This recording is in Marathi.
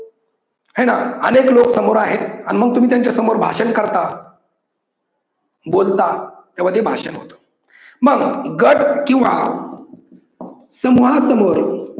हाय ना अनेक लोक समोर आहेत अन मग तुमी त्यांच्यासमोर भाषण करता बोलता तेव्हा ते भाषण होतं. मग गट किव्वा समुहा समोर